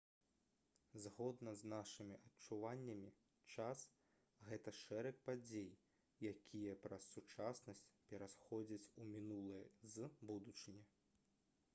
згодна з нашымі адчуваннямі час гэта шэраг падзей якія праз сучаснасць пераходзяць у мінулае з будучыні